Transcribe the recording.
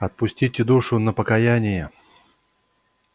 отпустите душу на покаяние